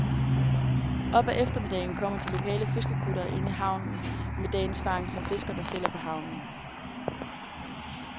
Op ad eftermiddagen kommer de lokale fiskerkuttere ind i havnen med dagens fangst, som fiskerne sælger på havnen.